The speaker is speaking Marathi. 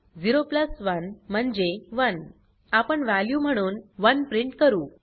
0 प्लस 1 म्हणजे 1 आपण वॅल्यू म्हणून 1 प्रिंट करू